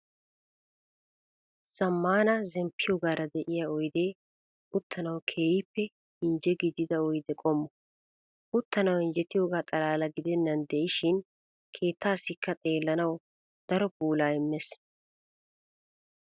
Zammaana zemppiyogaara de'iya oydee uttanawu keehippe injje gidida oyde qommo. Uttanawu injjetiyogaa xalaalaa gidennan de'ishin keettaasikka xeellanawu daro puulaa immees.